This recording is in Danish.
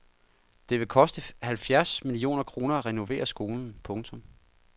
Det vil koste halvfjerds millioner kroner at renovere skolen. punktum